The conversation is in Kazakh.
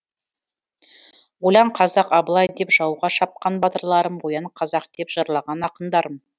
ойлан қазақ абылай деп жауға шапқан батырларым оян қазақ деп жырлаған ақындарым